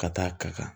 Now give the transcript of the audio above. Ka taa ka kan